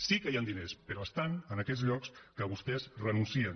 sí que hi han diners però estan en aquells llocs que vostès hi renuncien